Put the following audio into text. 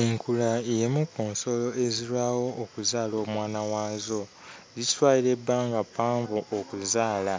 Enkula y'emu ku nsolo ezirwawo okuzaala omwana waazo. Zikitwalira ebbanga ppanvu okuzaala,